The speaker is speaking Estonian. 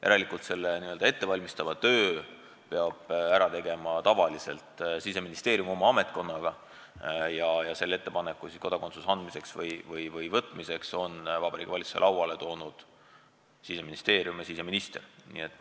Järelikult n-ö ettevalmistava töö peab ära tegema tavaliselt Siseministeerium oma ametkonnaga ja ettepaneku kodakondsuse andmiseks või võtmiseks on Vabariigi Valitsuse lauale toonud Siseministeerium ja siseminister.